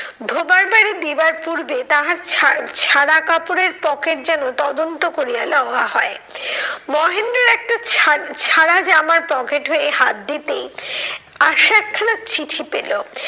ধোবার বাড়ি দেয়ার পূর্বে তাহার ছাড় ছাড়া কাপড়ের পকেট যেন তদন্ত করিয়া লওয়া হয়। মহেন্দ্র একটা ছাড় ছাড়া জামার পকেট হয়ে হাত দিতেই আশা একখানা চিঠি পেলো।